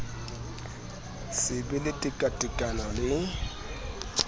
se be le tekatekano le